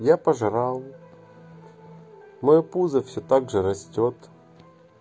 я пожрал моё пузо все также растёт